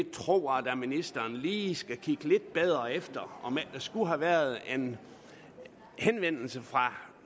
tror at ministeren lige skulle kigge lidt bedre efter om ikke der skulle have været en henvendelse fra